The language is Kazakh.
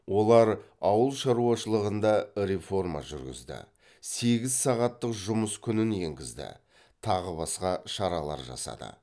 олар ауыл шаруашылығында реформа жүргізді сегіз сағаттық жұмыс күнін енгізді тағы басқа шаралар жасады